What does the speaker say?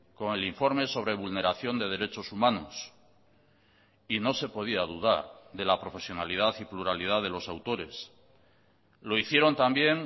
con el informe sobre vulneración de derechos humanos y no se podía dudar de la profesionalidad y pluralidad de los autores lo hicieron también